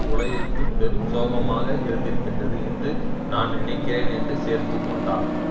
உலகிற்கு பெரும் சோகமாக இருந்திருக்கின்றது என்று நான் நினைக்கிறேன் என்று சேர்த்து கொண்டார்